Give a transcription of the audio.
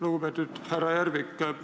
Lugupeetud härra Järvik!